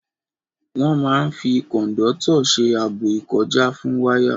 Wọ́n máa n fi kòndọ́tọ̀ ṣe ààbò ìkọjá fún wáyà